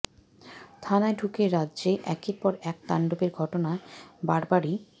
থানায় ঢুকে রাজ্যে একের পর এক তাণ্ডবের ঘটনায় বারবারই